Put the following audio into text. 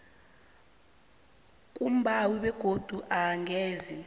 kumbawi begodu angeze